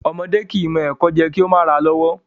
Ọmọdẹ́ kìí mọ ẹ̀kọ jẹ kìí o ma ra lọ́wọ́'